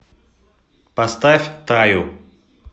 поставь таю